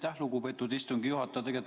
Aitäh, lugupeetud istungi juhataja!